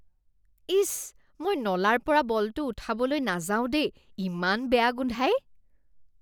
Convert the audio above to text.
ইচ, মই নলাৰ পৰা বলটো উঠাবলৈ নাযাও দেই। ইমান বেয়া গোন্ধায়।